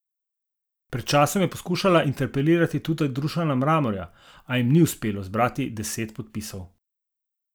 Pred časom je poskušala interpelirati tudi Dušana Mramorja, a jim ni uspelo zbrati deset podpisov.